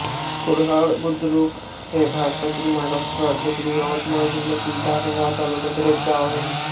कुरहाड बुद्रुक हे भारतातील महाराष्ट्र राज्यातील यवतमाळ जिल्ह्यातील दारव्हा तालुक्यातील एक गाव आहे